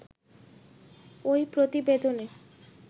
ঐ প্রতিবেদনে